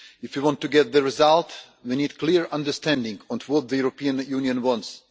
If you want to get the result we need clear understanding on what the European Union wants.